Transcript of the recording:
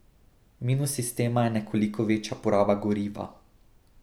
Minus sistema je nekoliko večja poraba goriva.